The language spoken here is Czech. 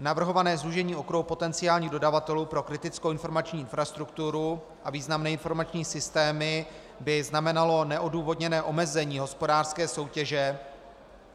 Navrhované zúžení okruhu potenciálních dodavatelů pro kritickou informační infrastrukturu a významné informační systémy by znamenalo neodůvodněné omezení hospodářské soutěže